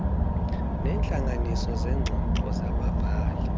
neentlanganiso zeengxoxo zababhali